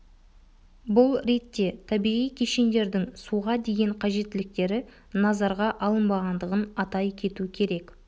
бұл ретте табиғи кешендердің суға деген қажеттіліктері назарға алынбағандығын атай кету керек